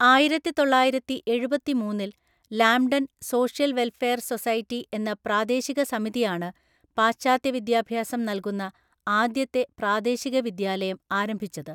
ആയിരത്തിതൊള്ളായിരത്തിഎഴുപത്തിമൂന്നിൽ Lamdon social welfare society എന്ന പ്രാദേശികസമിതിയാണ് പാശ്ചാത്യ വിദ്യാഭ്യാസം നൽകുന്ന ആദ്യത്തെ പ്രാദേശികവിദ്യാലയം ആരംഭിച്ചത്.